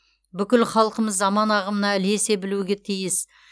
бүкіл халқымыз заман ағымына ілесе білуге тиіс